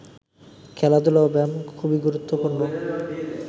খেলাধুলা ও ব্যায়াম খুবইগুরুত্বপূর্ণ